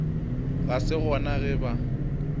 ga se gona ge ba